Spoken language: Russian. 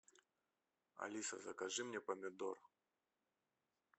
алиса закажи мне помидор